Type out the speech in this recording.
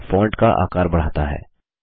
यह फॉन्ट का आकार बढ़ाता है